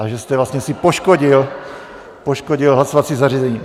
A že jste vlastně si poškodil hlasovací zařízení.